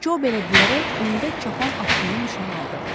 Co belə deyərək öndə çapan atlıını nişan aldı.